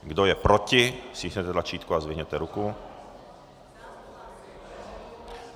Kdo je proti, stiskněte tlačítko a zvedněte ruku.